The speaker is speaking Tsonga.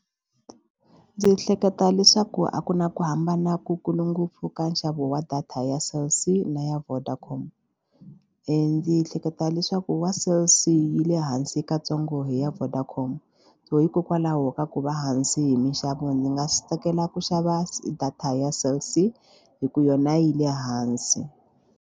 Ndzi hleketa leswaku a ku na ku hambana ku kulu ngopfu ka nxavo wa data ya Cell C na ya Vodacom. Ndzi ehleketa leswaku wa cell c yi le hansi katsongo hi ya Vodacom so hikokwalaho ka ku va hansi hi minxavo ndzi nga tsakela ku xava se data ya cell C hi ku yona yi le hansi.